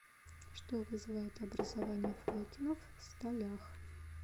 что вызывает образование флокенов в сталях